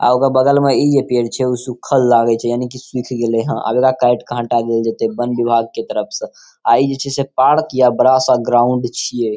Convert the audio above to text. आ ओकर बगल में ई पेड़ छै | उ सुखल लागे छै यानि कि सुख गेले हई | एकरा काट के हटा देल जैते वन विभाग के तरफ से अ ई जेई छै से पार्क या बड़ा सा ग्राउंड छिये ।